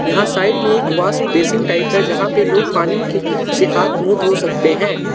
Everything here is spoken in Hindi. यहां साइड में एक वॉश बेसिन टाइप है जहां पर लोग पानी के से हाथ मुंह धो सकते हैं।